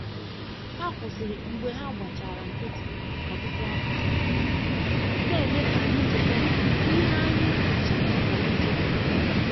Ha kwụsịrị mgbe ha gbachara nkịtị ọtụtụ afọ, na-eme ka anyị cheta ihe anyị che na anyi chefuru.